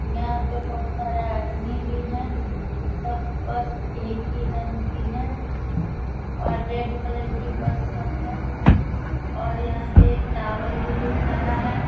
यहाँ पे बहुत सारे आदमी भी हैं। सब बस एक ही रंग की है और रेड कलर की बस सब है और यहाँ पे एक टावर भी दिख रहा है।